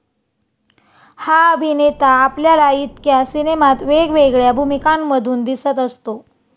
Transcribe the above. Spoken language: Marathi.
हा अभिनेता आपल्याला इतक्या सिनेमात वेगवेगळ्या भूमिकांमधून दिसत असतो.